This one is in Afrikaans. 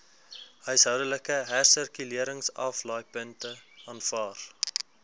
huishoudelike hersirkuleringsaflaaipunte aanvaar